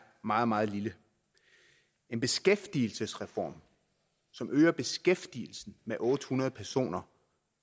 meget meget lille en beskæftigelsesreform som øger beskæftigelsen med otte hundrede personer